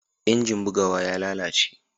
injin bugawa ya lalace